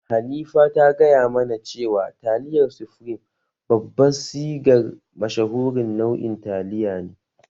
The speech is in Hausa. Hanifa ta gaya mana cewa taliyar sufreme babban sigar mashahurin nau'in taliya ne